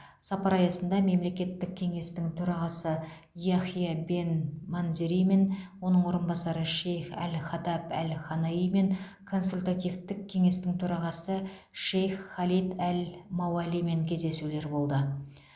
сапар аясында мемлекеттік кеңестің төрағасы яхия бен манзеримен оның орынбасары шейх әл хатаб әл ханаимен консультативтік кеңестің төрағасы шейх халид әл мауалимен кездесулер болды